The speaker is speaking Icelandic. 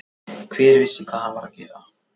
Hver vissi hvað hann var að gera.